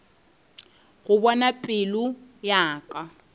go bona pelo ya ka